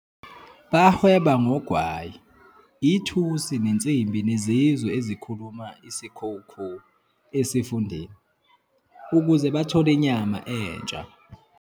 Bahweba ngogwayi, ithusi nensimbi nezizwe ezikhuluma isiKhoekhoe esifundeni, ukuze bathole inyama entsha.